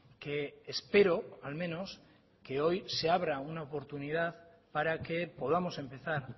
que espero al menos que hoy se abra una oportunidad para que podamos empezar